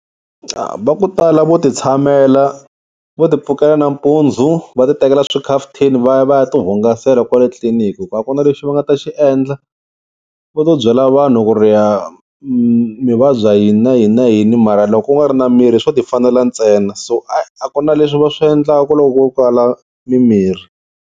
Va ku tala vo ti tshamela vo ti pfukela nampundzu va ti tekela xikhafuthini va ya va ya tihungasela kwale tliliniki hi ku a ku na lexi va nga ta xi endla. Va to byela vanhu ku ri ya mi vabya yini na yini na yini mara loko ku nga ri na mirhi swo ti fanela ntsena so a ku na leswi va swi endlaka loko ku kala mimirhi.